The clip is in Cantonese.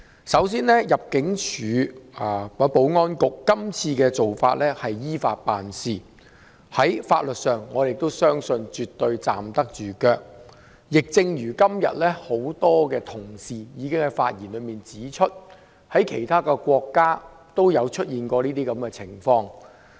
首先，入境事務處及保安局今次的做法是依法辦事，在法律上絕對站得住腳；亦正如今天很多議員已經在發言中指出，在其他國家都有出現這種情況。